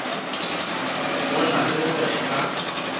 go na le gore a